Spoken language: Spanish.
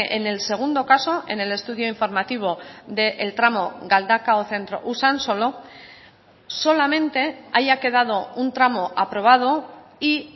en el segundo caso en el estudio informativo del tramo galdakao centro usansolo solamente haya quedado un tramo aprobado y